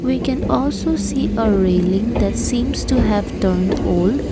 we can also see a railing that seems to have turned old.